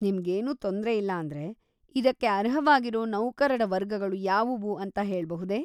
ನಿಮ್ಗೇನು ತೊಂದ್ರೆ ಇಲ್ಲಾಂದ್ರೆ, ಇದಕ್ಕೆ ಅರ್ಹವಾಗಿರೋ ನೌಕರರ ವರ್ಗಗಳು ಯಾವುವು ಅಂತ ಹೇಳ್ಬಹುದೇ?